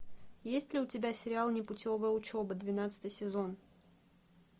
есть ли у тебя сериал непутевая учеба двенадцатый сезон